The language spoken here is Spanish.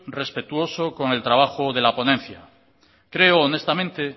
respetuoso con el trabajo de la ponencia creo honestamente